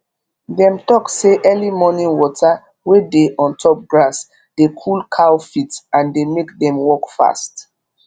dem talk say early morning water wey dey ontop grass dey cool cow feet and dey make dem walk fast